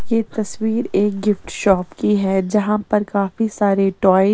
यह तस्वीर एक गिफ्ट शॉप की है जहां पर काफी सारे टॉय .